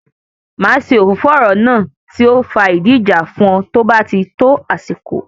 Máa ṣe òfófó ọ̀rọ̀ náà tí ó fa ìdí ìjà fún ọ tó bá tí tó àsìkò